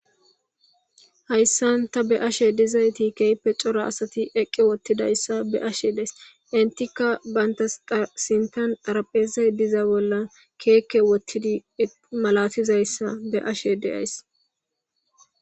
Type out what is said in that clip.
Hayssan ta beashe dizayti keype cora asati eqqe wottidayssa beashe dees intikka bayntaasintan dharaphezey diza bollan keekke wottidi malatizayssa beashe deays.